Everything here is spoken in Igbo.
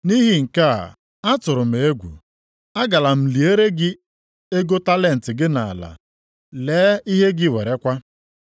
Nʼihi nke a, atụrụ m egwu, a gara m liere gị ego talenti gị nʼala. Lee ihe gị werekwa.’